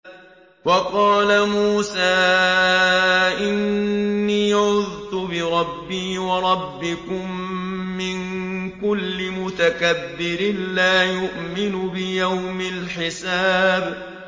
وَقَالَ مُوسَىٰ إِنِّي عُذْتُ بِرَبِّي وَرَبِّكُم مِّن كُلِّ مُتَكَبِّرٍ لَّا يُؤْمِنُ بِيَوْمِ الْحِسَابِ